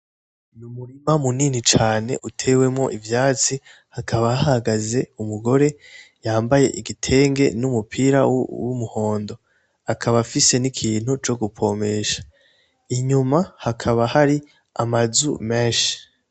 Umurima munini cane utewemwo ivyatsi hakaba hahagaze umugore yambaye igitenge n'umupira w'umuhondo akaba afise n'ikintu co gupompesha inyuma hakaba hari amazu menshi